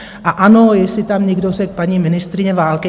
A ano, jestli tam někdo řekl paní ministryně války...